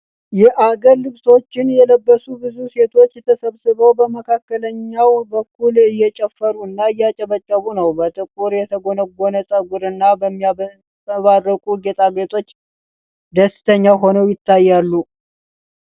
የአገር ልብሶችን የለበሱ ብዙ ሴቶች ተሰብስበው በመካከለኛው በኩል እየጨፈሩና እያጨበጨቡ ነው። በጥቁር የተጎነጎነ ፀጉር እና በሚያንጸባርቁ ጌጣጌጦች ደስተኛ ሆነው ይታያሉ።